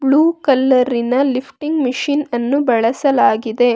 Blue ಕಲರಿನ lifting machine ಅನ್ನು ಬಳಸಲಾಗಿದೆ.